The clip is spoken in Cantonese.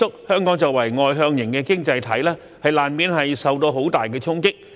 香港作為外向型經濟體，難免受到很大的衝擊。